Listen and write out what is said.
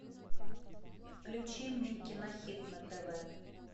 включи мне кинохит на тв